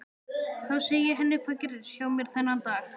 Þá segi ég henni hvað gerðist hjá mér þennan dag.